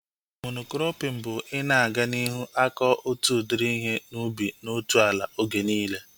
Mono-krọpin bụ ị na-aga n'ihu akọ otu udiri ihe ubi na otu ala oge niile